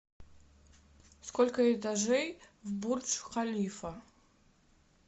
сколько этажей в бурдж халифа